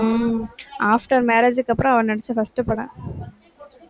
ஹம் after marriage க்கு அப்புறம், அவ நடிச்ச first படம்